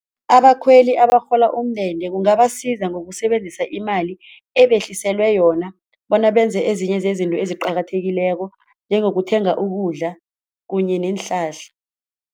Abakhweli abarhola umndende kungabasiza ngokusebenzisa imali ebehliselwe yona bona benze ezinye zezinto eziqakathekileko njengokuthenga ukudla kunye neenhlahla.